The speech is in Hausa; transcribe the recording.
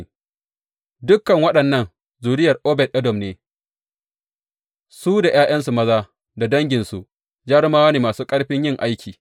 Ɗaukan waɗannan zuriyar Obed Edom ne; su da ’ya’yansu maza da danginsu, jarumawa ne masu ƙarfin yin aiki.